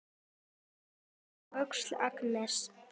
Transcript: Edda slær á öxl Agnesi.